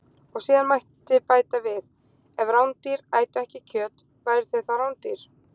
Og síðan mætti bæta við: Ef rándýr ætu ekki kjöt, væru þau þá rándýr?